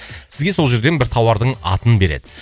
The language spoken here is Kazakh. сізге сол жерден бір тауардың атын береді